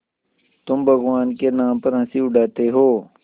तुम भगवान के नाम पर हँसी उड़ाते हो